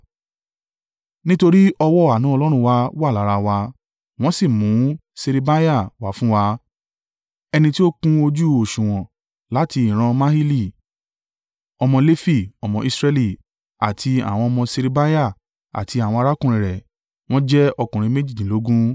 Nítorí ọwọ́ àánú Ọlọ́run wa wà lára wa, wọ́n sì mú Ṣerebiah wá fún wa, ẹni tí ó kún ojú òsùwọ̀n láti ìran Mahili, ọmọ Lefi, ọmọ Israẹli, àti àwọn ọmọ Ṣerebiah àti àwọn arákùnrin rẹ̀, wọ́n jẹ́ ọkùnrin méjìdínlógún.